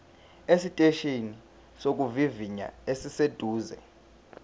esiteshini sokuvivinya esiseduze